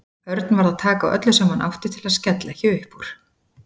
Örn varð að taka á öllu sem hann átti til að skella ekki upp úr.